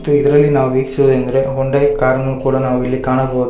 ಮತ್ತೆ ಇದ್ರಲ್ಲಿ ನಾವು ವೀಕ್ಷೋದೇನೆಂದರೆ ಹುಂಡೈ ಕಾರ್ನು ಕೂಡ ನಾವಿಲ್ಲಿ ಕಾಣಬಹುದು.